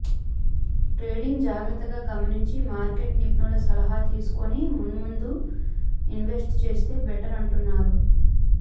ట్రెండిగ్స్ జాగ్రత్తగా గమనించి మార్కెట్ నిపుణుల సలహాలు తీసుకుని ముందుముందు ఇన్వెస్ట్ చేస్తే బెటర్ అంటున్నారు